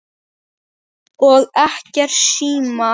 Og ekkert símaat.